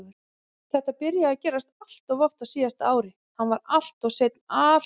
Þetta byrjaði að gerast alltof oft á síðasta ári, hann var alltof seinn alltof oft.